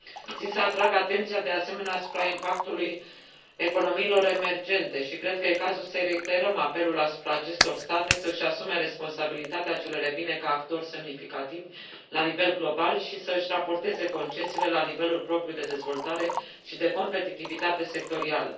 Țin să atrag atenția, de asemenea, asupra impactului economiilor emergente și cred că e cazul să reiterăm apelul asupra acestor state să își asume responsabilitatea ce le revine ca actori semnificativi la nivel global și să își raporteze concesiile la nivelul propriu de dezvoltare și de competitivitate sectorială.